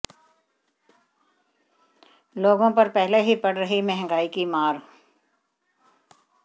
लोगों पर पहले ही पड़ रही महंगाई की मार